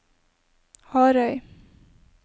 Harøy